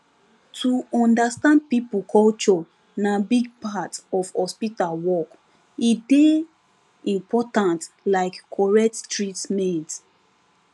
to understand people culture na big part of hospital work e dey important like correct treatment